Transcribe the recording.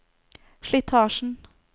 slitasjen